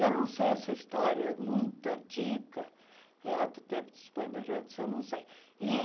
Eu não sei essa história, muito antiga, lá do tempo dos bandeirantes, eu não sei. ih